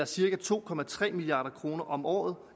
cirka to milliard kroner om året